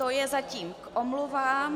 To je zatím k omluvám.